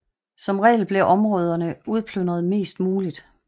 Som regel blev områderne udplyndret mest muligt